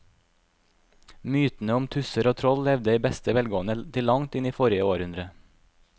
Mytene om tusser og troll levde i beste velgående til langt inn i forrige århundre.